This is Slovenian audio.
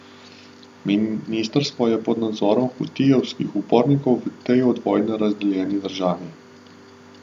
Ministrstvo je pod nadzorom hutijevskih upornikov v tej od vojne razdejani državi.